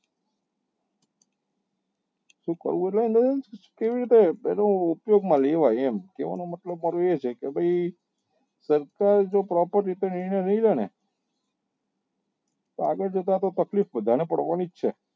કેવી રીતે તેને ઉપયોગ માં લેવાય એમ કેવા નો મતલબ મારો એ છે કે ભાઈ સરકારે જે રીતે નિર્ણય લીધો ને તો અગલ જતા તો તકલીફ બધા ને પડવા ની જ છે.